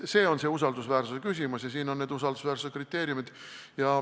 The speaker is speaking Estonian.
See on see usaldusväärsuse küsimus ja siin on need usaldusväärsuse kriteeriumid.